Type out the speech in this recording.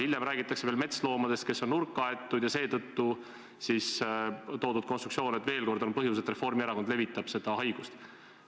Hiljem räägitakse veel metsloomast, kes on nurka aetud, ja seetõttu toodud konstruktsioon, et just see on põhjus, et Reformierakond levitab seda haigust.